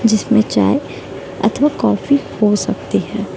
जिसमें चाय अथवा कॉफी हो सकती है।